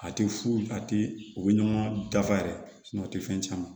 A tɛ fu a tɛ u bɛ ɲɔgɔn dafa yɛrɛ o tɛ fɛn caman